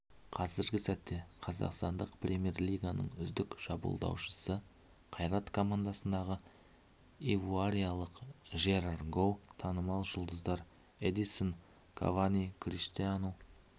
қазіргі сәтте қазақстандық премьер-лиганың үздік шабуылдаушысы қайрат командасындағы ивуариялық жерар гоу танымал жұлдыздар эдисон кавани криштиану